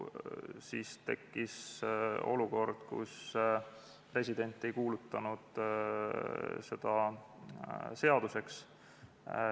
Siis tekkis olukord, kus president ei kuulutanud seda seaduseks.